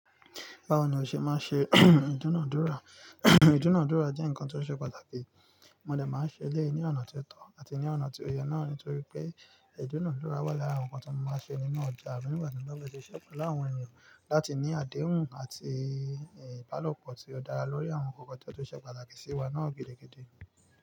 Báwo ni o ṣe máa ń ṣe ìdúnadúrà? Ìdúnadúrà jẹ́ nǹkan tó ṣe pàtàkì, mo dè máa ṣe lé e ní ọ̀nà tó tọ́ àti ní ọ̀nà tí ó yẹ náà nítorí pé ìdúnadúrà wà lára nǹkan tó máa ń ṣe nínú ọjà mi nígbà tí ń lọ́wọ́ ṣe ṣẹ́ pelu áwọn ènìyàn láti ní àdéhùn àti ìbálòpọ̀ tí ó dára lórí àwọn nnkan kan tó ṣe pàtàkì sí wa náà gidi gidí.